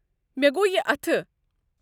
مےٚ گو یہِ اتھہٕ ۔